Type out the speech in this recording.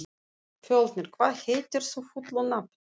Fjölnir, hvað heitir þú fullu nafni?